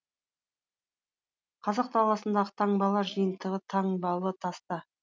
қазақ даласындағы таңбалар жиынтығы таңбалы таста